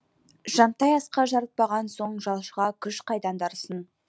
жантай асқа жарытпаған соң жалшыға күш қайдан дарысын